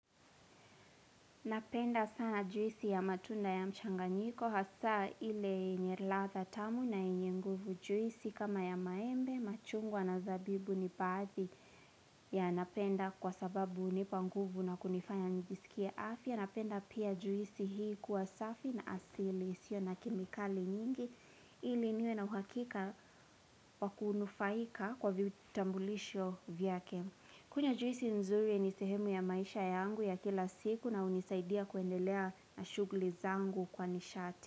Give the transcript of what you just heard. Napenda sana juisi ya matunda ya mchanganyiko, hasaa ile yenye ladha tamu na yenye nguvu, juisi kama ya maembe, machungwa na zabibu ni baadhi, yanapenda kwa sababu hunipa nguvu na kunifanya nijisikie afya. Napenda pia juisi hii kuwa safi na asili, isio na kemikali nyingi, ili niwe na uhakika wakunufaika kwa vitambulisho vyake. Kunywa juisi nzuri ni sehemu ya maisha yangu ya kila siku na hunisaidia kuendelea na shughuli zangu kwa nishati.